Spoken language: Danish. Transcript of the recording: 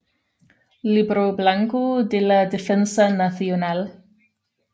Libro Blanco de la Defensa Nacional